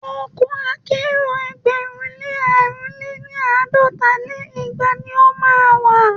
Ọkọ̀ akẹ́rò ẹgbẹ̀rún lé àrún lé ní- àádọ́ta lé igba ni o má a wà.